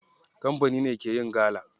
Kamfani ne ke yin gala.